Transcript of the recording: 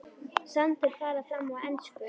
Samtöl fara fram á ensku.